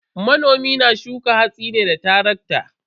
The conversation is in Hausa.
Manomin na shuka hatsin ne da tarakta.